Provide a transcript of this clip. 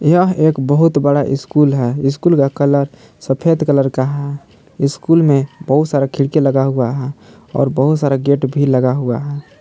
यह एक बहुत बड़ा स्कूल है स्कूल का कलर सफेद कलर का है स्कूल में बहुत सारा खिड़की लगा हुआ है और बहुत सारा गेट भी लगा हुआ है।